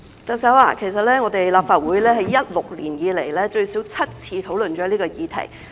特首，其實立法會自2016年以來，已最少7次討論這項議題。